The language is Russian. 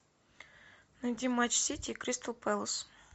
найди матч сити и кристал пэлас